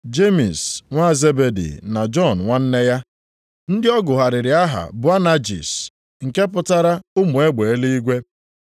Jemis nwa Zebedi na Jọn nwanne ya (ndị ọ gụgharịrị aha Boanajis, nke pụtara “ụmụ egbe eluigwe”),